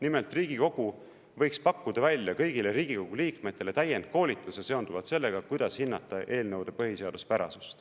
Nimelt, Riigikogu võiks pakkuda välja kõigile Riigikogu liikmetele täienduskoolituse seonduvalt sellega, kuidas hinnata eelnõude põhiseaduspärasust.